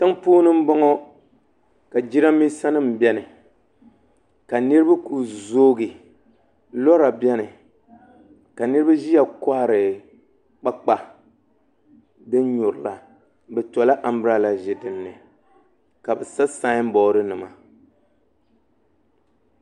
ti--mpuuni m-bɔŋɔ ka jirambiisanima beni ka niriba kuli zoogi lɔra beni ka niriba ʒiya kɔhiri kpaakpa din nyurila bɛ tɔla ambir---a--la ʒi din ni ka bɛ sa saamb-ɔdinima